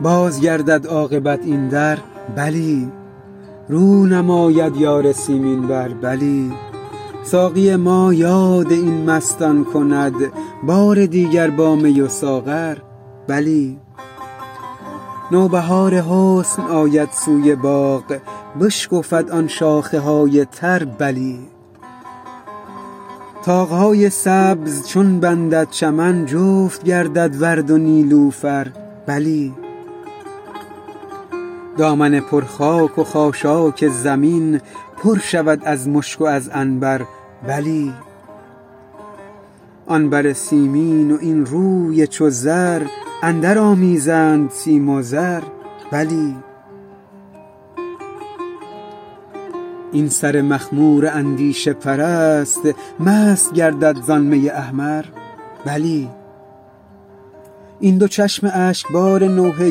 باز گردد عاقبت این در بلی رو نماید یار سیمین بر بلی ساقی ما یاد این مستان کند بار دیگر با می و ساغر بلی نوبهار حسن آید سوی باغ بشکفد آن شاخه های تر بلی طاق های سبز چون بندد چمن جفت گردد ورد و نیلوفر بلی دامن پر خاک و خاشاک زمین پر شود از مشک و از عنبر بلی آن بر سیمین و این روی چو زر اندرآمیزند سیم و زر بلی این سر مخمور اندیشه پرست مست گردد زان می احمر بلی این دو چشم اشکبار نوحه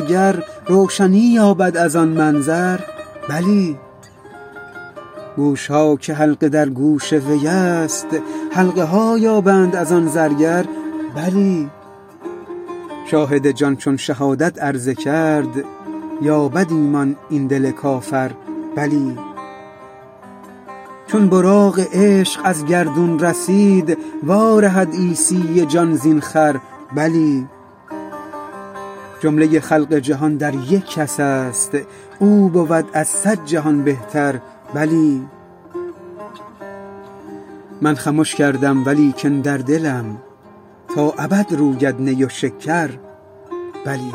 گر روشنی یابد از آن منظر بلی گوش ها که حلقه در گوش وی است حلقه ها یابند از آن زرگر بلی شاهد جان چون شهادت عرضه کرد یابد ایمان این دل کافر بلی چون براق عشق از گردون رسید وارهد عیسی جان زین خر بلی جمله خلق جهان در یک کس است او بود از صد جهان بهتر بلی من خمش کردم و لیکن در دلم تا ابد روید نی و شکر بلی